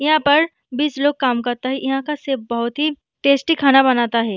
यहा पर बीस लोग काम करता है यहाँ का चीफ बहुत ही टेस्टी खाना बनता है |